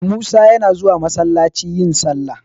Musa yana zuwa masallaci yin sallah.